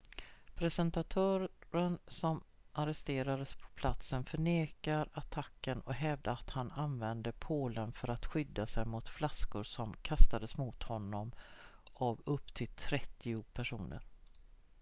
presentatören som arresterades på platsen förnekade attacken och hävdade att han använde pålen för att skydda sig mot flaskor som kastades mot honom av upp till trettio personer